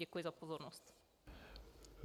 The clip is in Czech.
Děkuji za pozornost.